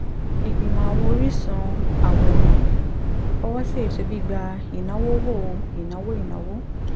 ìgbìmọ̀ àwọn oríṣun àwòrán fọwọ́ sí ètò gbígba ìnáwó wo ìnáwó ìnáwó